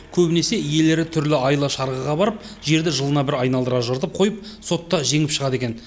көбінесе иелері түрлі айла шарғыға барып жерді жылына бір айналдыра жыртып қойып сотта жеңіп шығады екен